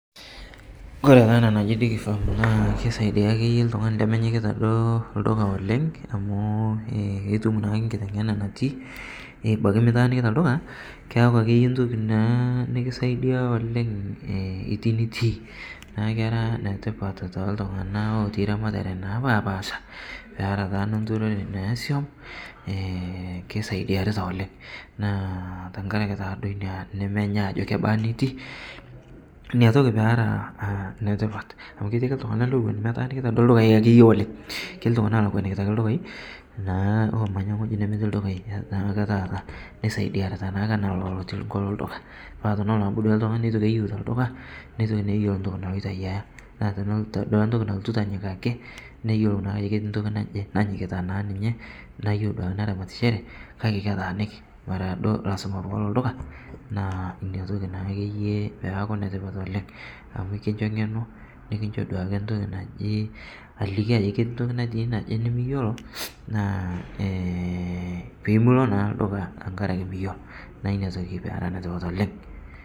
Kore taa ana naji digifarm naa keisaidia akeye ltung'ani lemenyikita lduka oleng' amu itum naa nkitengena natii abaki mitaaniki ldukaa keaku akeye ntoki naa nikisaidia oleng' iti nitii naa kera netipat toltung'ana otii ramataree napapaasha pera taa nonturoree nesiom keisaidiarita oleng' naa tankarake taa duo inia nemenya ajo kebaa nitii inia toki pera netipat amu keti ake ltung'ana owo duo metaanikita duo ldukai akeye oleng' keti ltungana elekwanikita ldukai naa lomanya ng'oji nemetii ldukai naake taata neisaidiarita naake ana ilo loti nkolo lduka naa tenelo naake ltung'ani naaku keitoki eyeu te lduka neitoki naa eyelo ntoki naloito aiyaa naa teneata duake ntoki naloito anyikakii neyelou naa ajo keti ntoki najii nanyikita naa ninye neyeu duake neramatishere kake ketaaniki mara duo peloo lduka naa inia toki naakeye peaku netipat oleng' amu kinsho ng'eno nikinsho duake ntoki naji aliki ajoki keti ntoki natii naje nimiyeloo naa pimilo naa lduka tankarake miyolo naa inia toki pera netipat oleng'.